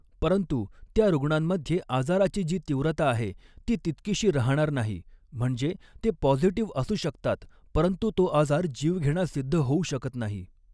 परंतु, त्या रूग्णांमध्ये आजाराची जी तीव्रता आहे ती तितकीशी राहणार नाही म्हणजे ते पॉझिटिव्ह असू शकतात परंतु तो आजार जीवघेणा सिद्ध होऊ शकत नाही.